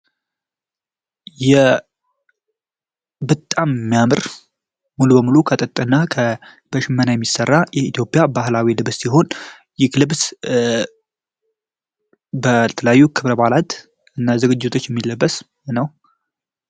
የብጣም ሚያምር ሙሉ በሙሉ ከጥጥ እና ከበሽመና የሚሰራ የኢትዮጵያ ባህላዊ ልብስ ሲሆን ይህ ልብስ በተለዩ ክብር ባዓላት እና ዝግጅቶች የሚለበስ ነው።